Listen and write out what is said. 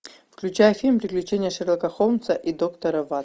включай фильм приключения шерлока холмса и доктора